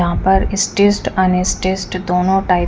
यहा पर stressed unstressed दोनों टाइप --